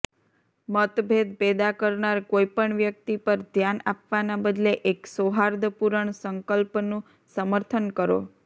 મતભેદ પેદા કરનાર કોઈ પણ વ્યક્તિ પર ધ્યાન આપવાના બદલે એક સૌહાર્દપૂરણ સંકલ્પનુ સમર્થન કરો